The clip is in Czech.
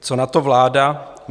Co na to vláda?